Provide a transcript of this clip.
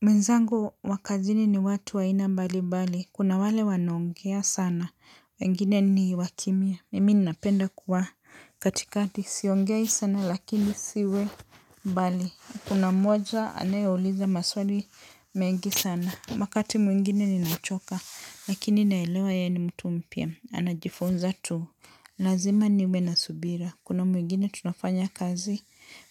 Mwenzangu wa kazini ni watu wa aina mbalimbali. Kuna wale wanaongea sana. Wengine ni wa kimya. Mimi ninapenda kuwa katikati. Siongei sana lakini siwe mbali. Kuna moja anayeouliza maswali mengi sana. Wakati mwingine ninachoka. Lakini naelewa yeye ni mtu mpya. Anajifunza tu. Lazima niwe na subira. Kuna mwingine tunafanya kazi